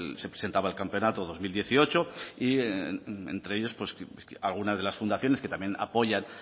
se presentaba el campeonato dos mil dieciocho y entre ellos algunas de las fundaciones que también apoyan